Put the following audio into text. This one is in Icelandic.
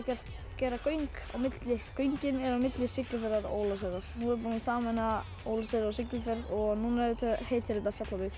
gera göng á milli göngin eru á milli Siglufjarðar Ólafsfjarðar nú er búið að sameina Ólafsfjörð og Siglufjörð og núna heitir þetta Fjallabyggð